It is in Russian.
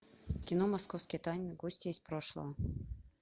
кино московские тайны гости из прошлого